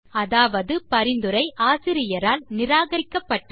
அதாவது பரிந்துரை ஆசிரியரால் நிராகரிக்கப்பட்டது